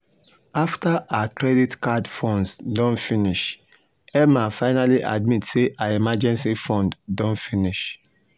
after her credit card funds don finish emma finally admit say her emergency fund don finish.